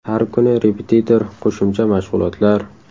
Har kuni repetitor, qo‘shimcha mashg‘ulotlar.